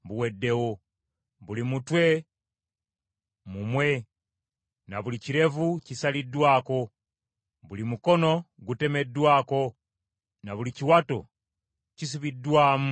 Buli mutwe mumwe na buli kirevu kisaliddwako; buli mukono gutemeddwako na buli kiwato kisibiddwamu ebibukutu.